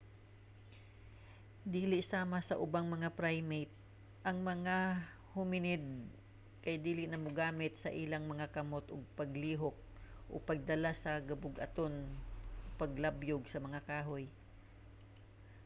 dili sama sa ubang mga primate ang mga hominid kay dili na mogamit sa ilang mga kamot sa paglihok o pagdala sa gibug-aton o paglabyog sa mga kahoy